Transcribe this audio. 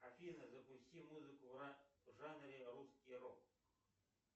афина запусти музыку в жанре русский рок